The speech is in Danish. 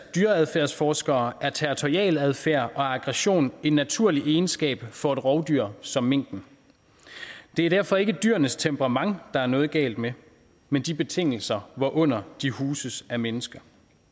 dyreadfærdsforskere er territorialadfærd og aggression en naturlig egenskab for et rovdyr som minken det er derfor ikke dyrenes temperament der er noget galt med men de betingelser hvorunder de huses af mennesker